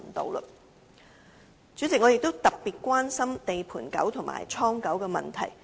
代理主席，我也特別關注"地盤狗"和"倉狗"的問題。